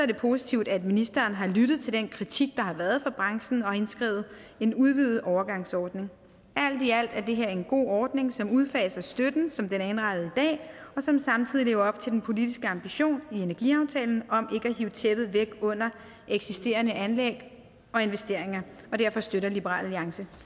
det positivt at ministeren har lyttet til den kritik der har været fra branchen og indskrevet en udvidet overgangsordning alt i alt er det her en god ordning som udfaser støtten som den er indrettet i dag og som samtidig lever op til den politiske ambition i energiaftalen om ikke at hive tæppet væk under eksisterende anlæg og investeringer derfor støtter liberal alliance